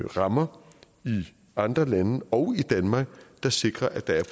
rammer i andre lande og i danmark der sikrer at der er